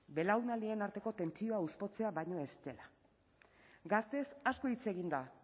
belaunaldien arteko tentsioa hauspotzea baino ez dela gazteez asko hitz egin da